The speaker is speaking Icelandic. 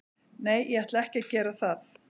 Nei, ég ætla ekki að gera það.